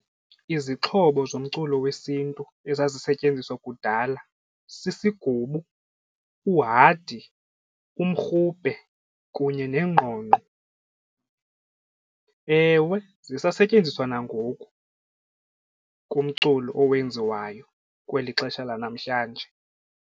Izixhobo zomculo wesiNtu ezazisentyenziswa kudala sisigubu, uhadi, umrhubhe kunye nengqongqo. Ewe zisasetyenziswa nangoku kumculo owenziwayo kweli xesha lanamhlanje.